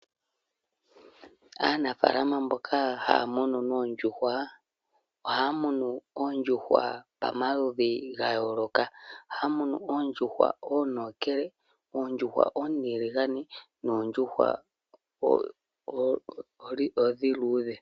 Aanafalama mboka haya munu oondjuhwa, ohaya munu oondjuhwa pamaludhi ga yooloka. Ohaya munu oondjuhwa oontokele, oontiligane, noondjuhwa oonduudhe.